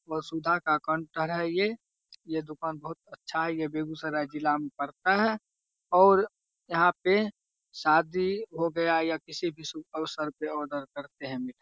वसुधा का counter centre है ये यहाँ दूकान बहुत बहुत अच्छा है यह बेगुसराय जिला मे पड़ता है और यहाँ पे शादी हो गया या किसी भी फंक्शन पर आर्डर करते है --